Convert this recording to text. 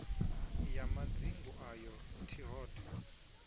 ya madzingu ayo t hod